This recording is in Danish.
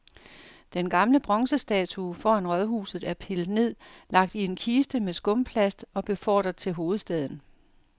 Den gamle bronzestatue foran rådhuset er pillet ned, lagt i en kiste med skumplast og befordret til hovedstaden.